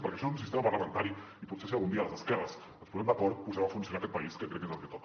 perquè això un sistema parlamentari i potser si algun dia les esquerres ens posem d’acord posarem a funcionar aquest país que crec que és el que toca